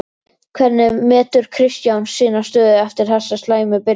Hvernig metur Kristján sína stöðu eftir þessa slæmu byrjun?